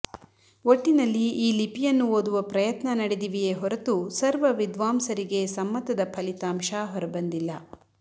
ಒಟ್ಟಿನಲ್ಲಿ ಈ ಲಿಪಿಯನ್ನು ಓದುವ ಪ್ರಯತ್ನ ನಡೆದಿವೆಯೇ ಹೊರತು ಸರ್ವ ವಿದ್ವಾಂಸರಿಗೆ ಸಮ್ಮತದ ಫಲಿತಾಂಶ ಹೊರಬಂದಿಲ್ಲ